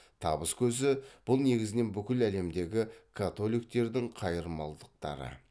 табыс көзі бұл негізінен бүкіл әлемдегі католиктердің қайырмалдықтары